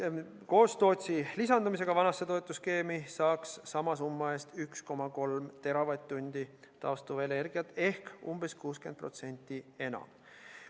Koos Tootsi lisandumisega vanasse toetusskeemi saaks sama summa eest 1,3 teravatt-tundi taastuvenergiat ehk umbes 60% enam.